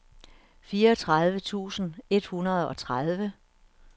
fireogtredive tusind et hundrede og tredive